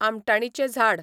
आमटाणीचें झाड